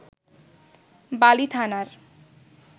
বালি থানার